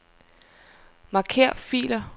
Marker filer.